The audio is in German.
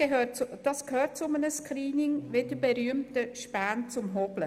Das gehört zu einem Screening, wie die berühmte Späne zum Hobeln.